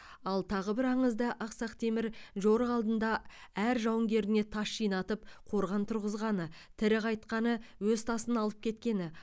ал тағы бір аңызда ақсақ темір жорық алдында әр жауынгеріне тас жинатып қорған тұрғызғаны тірі қайтқаны өз тасын алып кеткені